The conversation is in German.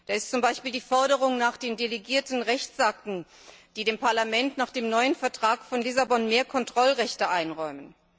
Da ist zum Beispiel die Forderung nach den delegierten Rechtsakten, die dem Parlament nach dem neuen Vertrag von Lissabon mehr Kontrollrechte einräumen.